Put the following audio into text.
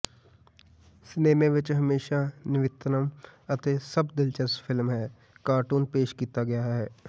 cinema ਵਿੱਚ ਹਮੇਸ਼ਾ ਨਵੀਨਤਮ ਅਤੇ ਸਭ ਦਿਲਚਸਪ ਫਿਲਮ ਹੈ ਅਤੇ ਕਾਰਟੂਨ ਪੇਸ਼ ਕੀਤਾ ਗਿਆ ਹੈ